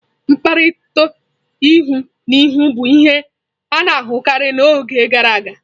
Nkpakọrịta ihu na ihu bụ ihe a na-ahụkarị n'oge gara aga.